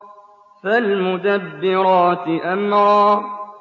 فَالْمُدَبِّرَاتِ أَمْرًا